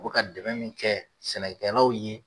U bi ka dɛmɛ min kɛ sɛnɛkɛlawl ye